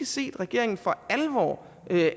set regeringen for alvor